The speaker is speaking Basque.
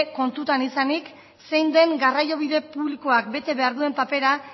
kontutan izanik zein den garraiobide publikoak bete behar duen papera